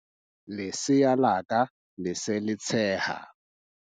Lesea la ka le se le tsheha.